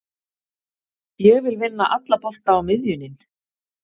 Ég vil vinna alla bolta á miðjunin.